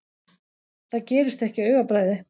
Það gerist ekki á augabragði.